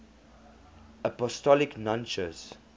apostolic nuncios